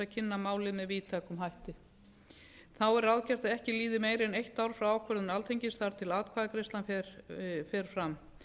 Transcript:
að kynna málið víðtækum hætti þá er ráðgert að ekki líði meira en eitt ár frá ákvörðun alþingis þar til atkvæðagreiðslan fer fram